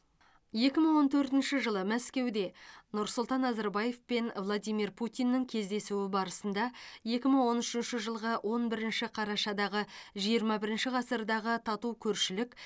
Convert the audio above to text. екі мың он төртінші жылы мәскеуде нұрсұлтан назарбаев пен владимир путиннің кездесуі барысында екі мың он үшінші жылғы он бірінші қарашадағы жиырма бірінші ғасырдағы тату көршілік